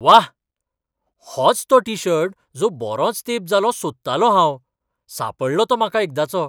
व्वा! होच तो टी शर्ट जो बरोच तेंप जालो सोदतालों हांव. सांपडलो तो म्हाका एकदांचो.